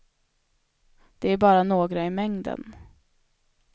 Det är bara några i mängden.